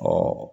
Ɔ